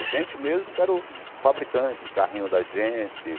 A gente mesmo que era o fabricante do carrinho da gente.